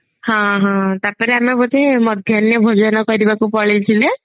ହଁ ହଁ ତାପରେ ଆମେ ବୋଧେ ମଧ୍ୟାନ ଭୋଜନ କରିବାକୁ ପଳେଇ ଥିଲେ